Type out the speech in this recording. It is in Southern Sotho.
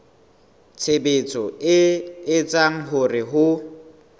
tshebetso e etsang hore ho